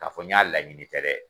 Ka fɔ n y'a laɲini tɛ dɛ